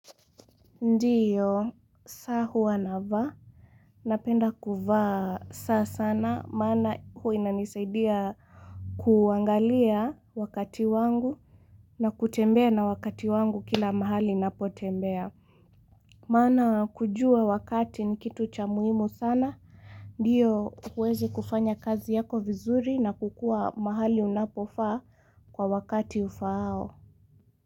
Ndiyo, saa huwa navaa, napenda kuvaa saa sana, maana huwa inanisaidia kuangalia wakati wangu na kutembea na wakati wangu kila mahali napotembea. Maana kujua wakati ni kitu cha muhimu sana, ndiyo huwezi kufanya kazi yako vizuri na kukua mahali unapofaa kwa wakati ufaao.